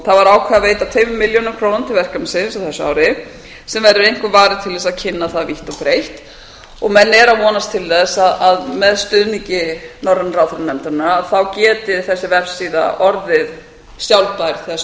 það ákveðið að veita tveimur milljónum króna til verkefnisins á þessu ári sem verður einkum varið til þess að kynna það vítt og breitt menn eru að vonast til þess að með stuðningi norrænu ráðherranefndarinnar geti þessi vefsíða orðið sjálfbær þegar